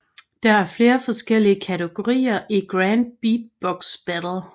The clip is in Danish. Der er flere forskellige kategorier i Grand Beatbox Battle